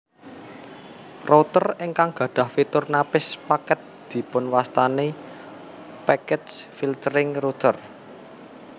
Router ingkang gadhah fitur napis paket dipunwastani packet filtering router